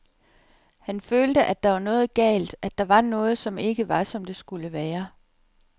Han følte, at der var noget galt, at der var noget, som ikke var, som det skulle være.